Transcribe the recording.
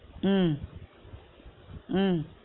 உம் உம்